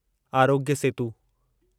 Aarogya Setu